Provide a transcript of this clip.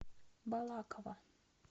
балаково